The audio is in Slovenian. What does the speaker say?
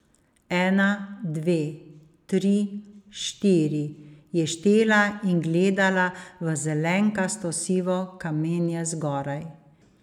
Ena, dve, tri, štiri, je štela in gledala v zelenkasto sivo kamenje zgoraj.